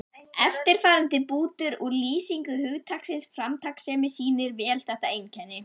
Eftirfarandi bútur úr lýsingu hugtaksins framtakssemi sýnir vel þetta einkenni